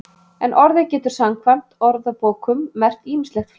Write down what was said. En orðið getur samkvæmt orðabókum merkt ýmislegt fleira.